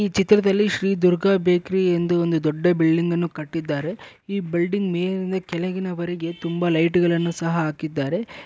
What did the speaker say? ಈ ಚಿತ್ರದಲ್ಲಿ ಶ್ರೀ ದುರ್ಗಾ ಬೇಕರಿ ಎಂದು ಒಂದು ದೊಡ್ಡ ಬಿಲ್ಡಿಂಗ್ ಅನ್ನು ಕಟ್ಟಿದ್ದಾರೆ. ಈ ಬಿಲ್ಡಿಂಗ್ ಮೇಲಿಂದ ಕೆಳಗಿನವರೆಗೆ ತುಂಬಾ ಲೈಟುಗಳನ್ನು ಸಹ ಹಾಕಿದ್ದಾರೆ.